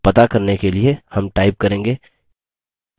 to करने के लिए हम type करेंगे